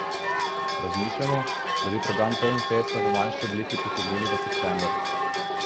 Razmišljamo, da bi program Trnfesta v manjši obliki potegnili v september.